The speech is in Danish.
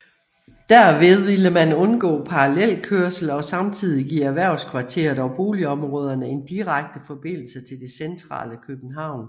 Derved ville man undgå parallelkørsel og samtidig give erhvervskvarteret og boligområderne en direkte forbindelse til det centrale København